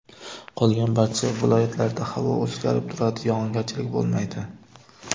Qolgan barcha viloyatlarda havo o‘zgarib turadi, yog‘ingarchilik bo‘lmaydi.